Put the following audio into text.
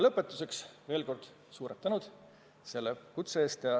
Lõpetuseks veel kord suur tänu selle kutse eest!